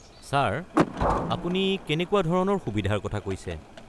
Sir, আপুনি কেনেকুৱা ধৰণৰ সুবিধাৰ কথা কৈছে?